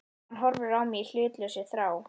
Hann horfir á mig í hlutlausri þrá.